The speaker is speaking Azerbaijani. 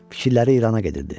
Fikirləri İrana gedirdi.